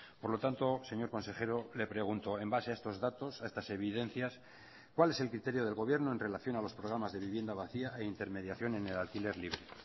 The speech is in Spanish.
por lo tanto señor consejero le pregunto en base a estos datos a estas evidencias cuál es el criterio del gobierno en relación a los programas de vivienda vacía e intermediación en el alquiler libre